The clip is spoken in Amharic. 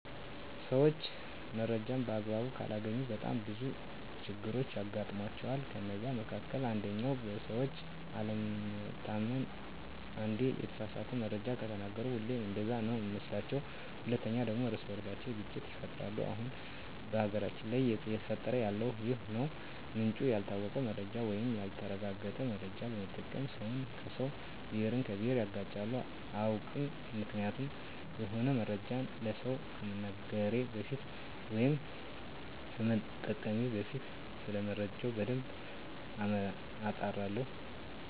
ሰዎች መረጃን በአግባቡ ካላገኙ በጣም ብዙ ችግሮች ያጋጥሟቸዋል ከነዛ መካከል አንደኛው በሰዎች አለመታመን አንዴ የተሳሳተ መረጃ ከተናገሩ ሁሌም እንደዛ ነው ሚመስሏቸዉ። ሁለተኛው ደግሞ የእርስ በእርስ ግጭት ይፈጠራል አሁን በሀገራችን ላይ እየተፈጠረ ያለው ይህ ነው ምንጩ ያልታወቀ መረጃን ወይም ያልተረጋገጠ መረጃ በመጠቀም ሰውን ከሰው፣ ብሄርን ከብሄር ያጋጫሉ። አያውቅም ምክንያቱም የሆነ መረጃን ለሰው ከመንገሬ በፊት ወይም ከመጠቀሜ በፊት ሰለመረጃው በደንብ አጣራለሁ።